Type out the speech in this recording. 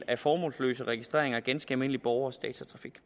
af formålsløse registreringer af ganske almindelige borgeres datatrafik